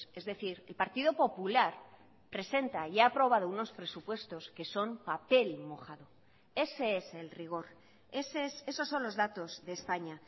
es decir el partido popular presenta y ha aprobado unos presupuestos que son papel mojado ese es el rigor esos son los datos de españa